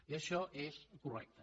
i això és correcte